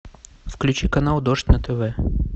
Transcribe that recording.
включи канал дождь на тв